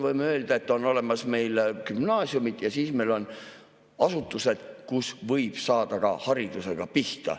Võime öelda, et meil on olemas gümnaasiumid ja siis meil on asutused, kus võib saada ka haridusega pihta.